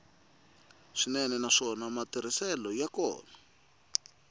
swinene naswona matirhiselo ya kona